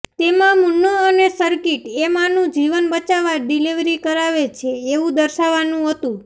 તેમાં મુન્નો અને સર્કિટ એ માંનું જીવન બચાવવા ડિલિવરી કરાવે છે એવું દર્શાવવાનું હતું